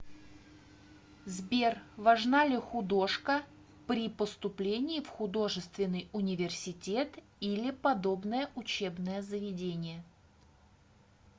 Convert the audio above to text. сбер важна ли художка при поступлении в художественный университет или подобное учебное заведение